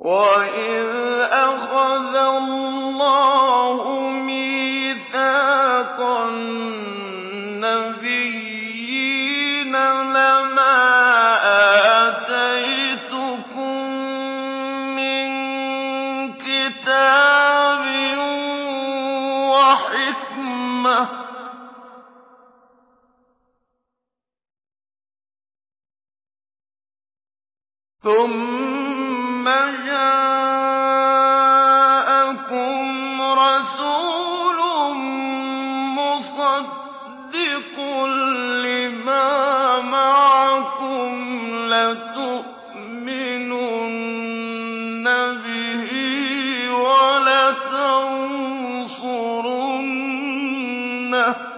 وَإِذْ أَخَذَ اللَّهُ مِيثَاقَ النَّبِيِّينَ لَمَا آتَيْتُكُم مِّن كِتَابٍ وَحِكْمَةٍ ثُمَّ جَاءَكُمْ رَسُولٌ مُّصَدِّقٌ لِّمَا مَعَكُمْ لَتُؤْمِنُنَّ بِهِ وَلَتَنصُرُنَّهُ ۚ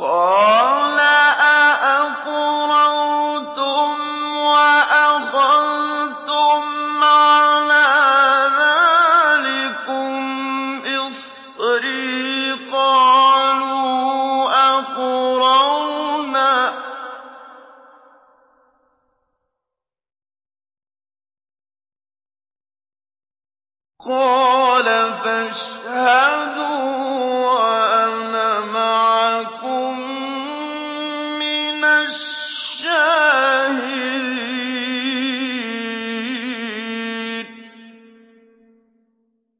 قَالَ أَأَقْرَرْتُمْ وَأَخَذْتُمْ عَلَىٰ ذَٰلِكُمْ إِصْرِي ۖ قَالُوا أَقْرَرْنَا ۚ قَالَ فَاشْهَدُوا وَأَنَا مَعَكُم مِّنَ الشَّاهِدِينَ